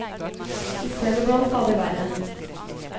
I stedet ble han stadig verre.